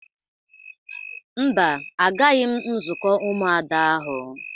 Mba, agaghị m nzukọ Ụmụada ahụ.